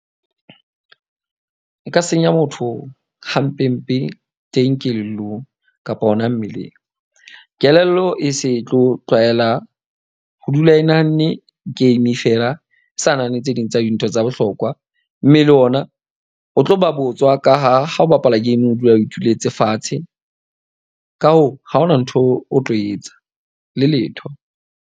E ka senya motho hampe mpe teng kelellong kapa hona mmeleng. Kelello e se tlo tlwaela ho dula e nahanne game feela. A sa nahane tse ding tsa dintho tsa bohlokwa mme le ona o tlo ba botswa ka ha ha o bapala game o dula o ituletse fatshe. Ka hoo, ha hona ntho o tlo etsa le letho.